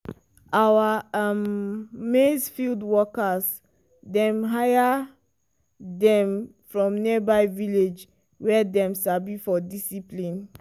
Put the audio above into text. our um maize field workers dem hire them from nearby village wey dem sabi for discipline.